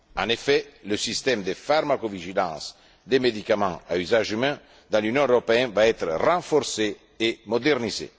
En effet, le système de pharmacovigilance des médicaments à usage humain dans l'Union européenne va être renforcé et modernisé.